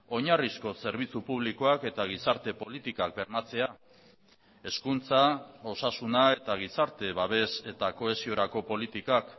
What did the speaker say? oinarrizko zerbitzu publikoak eta gizarte politikak bermatzea hezkuntza osasuna eta gizarte babes eta kohesiorako politikak